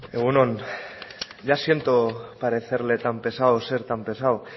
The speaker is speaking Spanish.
egun on ya siento parecerle tan pesado o ser tan pesado